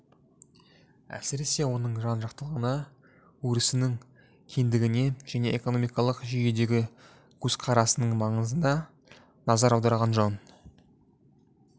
әсіресе оның жан-жақтылығына өрісінің кеңдігіне және экономикалық жүйедегі көзқарасының маңызына назар аударған жөн